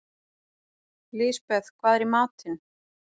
Lisbeth, hvað er í matinn?